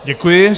Děkuji.